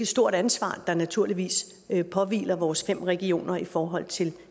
stort ansvar der naturligvis påhviler vores fem regioner i forhold til